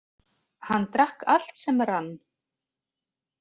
Hann drakk allt sem rann.